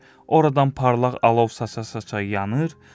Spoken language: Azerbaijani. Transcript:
oradan parlaq alov saça-saça yanır,